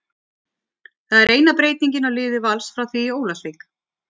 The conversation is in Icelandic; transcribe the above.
Það er eina breytingin á liði Vals frá því í Ólafsvík.